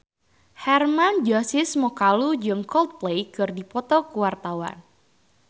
Hermann Josis Mokalu jeung Coldplay keur dipoto ku wartawan